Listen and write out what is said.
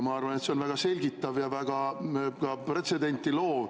Ma arvan, et see on väga selgitav ja ka väga pretsedenti loov.